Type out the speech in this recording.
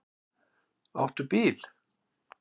Áttu bíl?